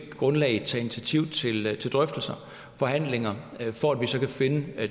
grundlag vil tage initiativ til drøftelser og forhandlinger for at vi så kan finde